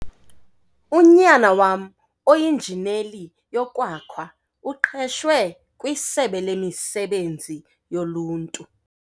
Unyana wam oinjineli yokwakha uqeshwe kwisebe lemisebenzi yoluntu.